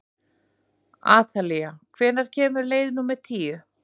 Atalía, hvenær kemur leið númer tíu?